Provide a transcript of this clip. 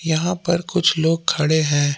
यहां पर कुछ लोग खड़े हैं।